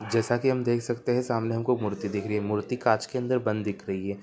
जैसा की हम देख सकते हैं सामने हमको मूर्ति दिख रही है मूर्ति कांच के अंदर बंद दिख रही है।